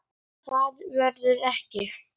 Frekara lesefni og mynd